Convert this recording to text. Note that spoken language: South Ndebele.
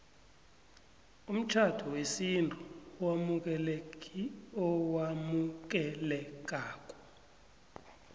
umtjhado wesintu owamukelekako